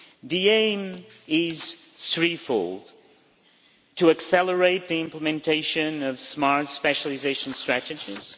The aim is threefold to accelerate the implementation of smart specialisation strategies